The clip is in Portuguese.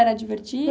Era divertido?